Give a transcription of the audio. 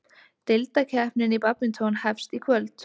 Deildakeppnin í badminton hefst í kvöld